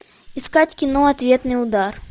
искать кино ответный удар